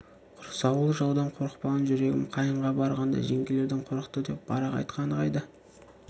құрсаулы жаудан қорықпаған жүрегім қайынға барғанда жеңгелерден қорықты деп барақ айтқаны қайда